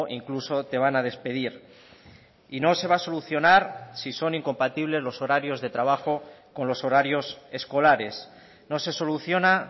incluso te van a despedir y no se va a solucionar si son incompatibles los horarios de trabajo con los horarios escolares no se soluciona